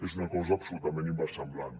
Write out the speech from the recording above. és una cosa absolutament inversemblant